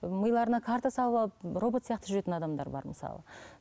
миларына карта салып алып робот сияқты жүретін адамдар бар мысалы